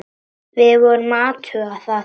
Við vorum að athuga það.